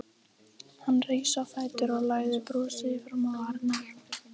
Hann rís á fætur og læðir brosi fram á varirnar.